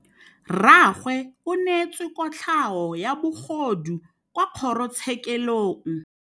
Rragwe o neetswe kotlhaô ya bogodu kwa kgoro tshêkêlông.